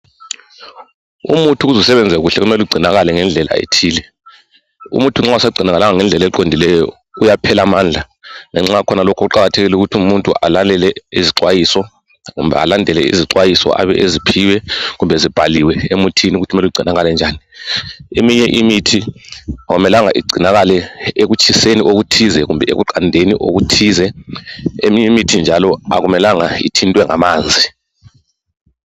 Umuthi ukuze usebenze kuhle kufanele ugcinakale ngendlela ethile , umuthi nxa ungasagcinakalanga ngendlela eqondileyo uyaphela amandla , lanxa kukhona lokho kuqakathekile ukuthi umuntu alalele izixwayiso kumbe alandele izixwayiso Abe eziphiwe kumbe zibhaliwe emuthini ukuthi mele ugcinakale njani , eminye imithi akumelanga igcinakale ekutshiseni okuthize kumbe ekuqandeni okuthize eminye imithi njalo akumelanga njalo ithintwe ngamanzi